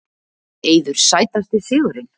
Eiður Sætasti sigurinn?